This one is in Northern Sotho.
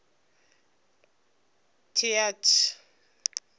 th e a ya th